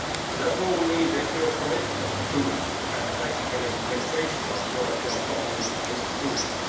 Therefore we need a clear commitment to, and practical implementation of, European common institutions.